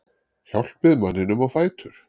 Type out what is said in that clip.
Hjálpið manninum á fætur.